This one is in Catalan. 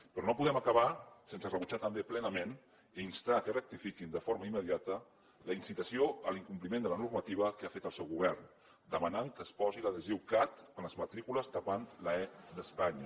però no podem acabar sense rebutjar també plenament i instar que rectifiquin de forma immediata la incitació a l’incompliment de la normativa que ha fet el seu govern que demana que es posi l’adhesiu cat a les matrícules tapant l’e d’espanya